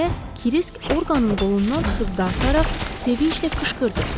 Deyə Kirisk Orqanın qolundan tutub dartaraq sevinclə qışqırdı.